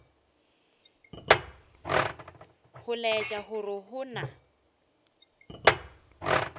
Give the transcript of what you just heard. go laetša gore go na